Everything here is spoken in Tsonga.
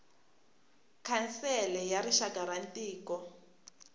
khansele ya rixaka ya mintirho